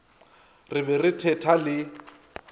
re be re thetha le